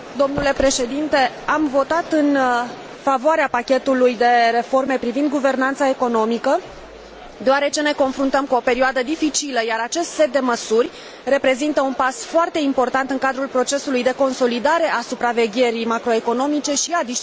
Am votat în favoarea pachetului de reforme privind guvernanța economică deoarece ne confruntăm cu o perioadă dificilă, iar acest set de măsuri reprezintă un pas foarte important în cadrul procesului de consolidare a supravegherii macroeconomice și a disciplinei financiare.